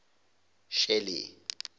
shelly